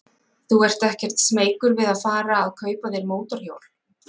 Þú ert ekkert smeykur við að fara að kaupa þér mótorhjól?